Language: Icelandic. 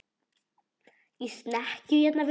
Í snekkju hérna úti fyrir!